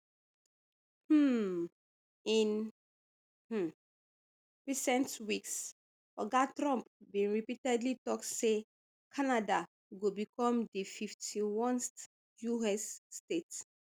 um in um recent weeks oga trump bin repeatedly tok say canada go become di fifty-onest us state